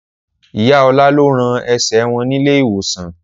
Ìyá Ọlá lọ rán ẹsẹ̀ wọn nílé ìwòsàn